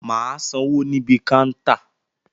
Mà á sanwó níbi káńtà